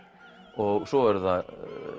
og svo eru það